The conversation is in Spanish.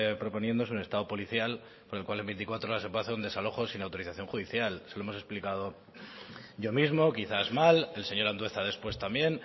proponiendo es un estado policial con lo cual en veinticuatro horas se puede hacer un desalojo sin autorización judicial se lo hemos explicado yo mismo quizá mal el señor andueza después también